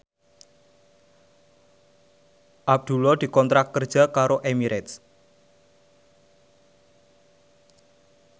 Abdullah dikontrak kerja karo Emirates